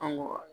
An mɔ